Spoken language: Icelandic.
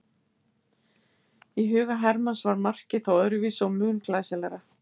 Í huga Hermanns var markið þó öðruvísi og mun glæsilegra.